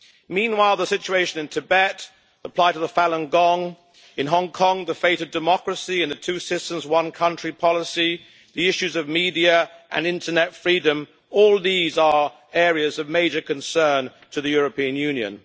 Meanwhile, the situation in Tibet, the plight of the Falun Gong in Hong Kong, the fate of democracy in the two systems, one country policy, and the issues of media and internet freedom are all areas of major concern to the European Union.